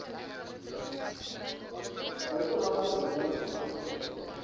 buitelandse lenings as